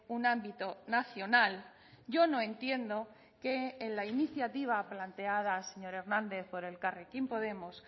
un ámbito nacional yo no entiendo que en la iniciativa planteada señor hernández por elkarrekin podemos